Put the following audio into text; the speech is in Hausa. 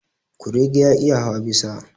Kurege ya iya hawa bisa.